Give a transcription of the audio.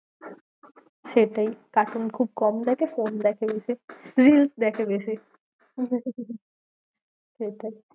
সেটাই cartoon খুব কম দেখে, phone দেখে বেশি reels দেখে বেশি সেটাই